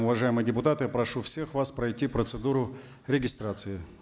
уважаемые депутаты прошу всех вас пройти процедуру регистрации